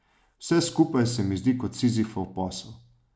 Vse skupaj se mi zdi kot Sizifov posel.